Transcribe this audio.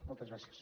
moltes gràcies